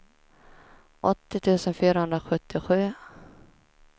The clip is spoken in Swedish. åttio tusen fyrahundrasjuttiosju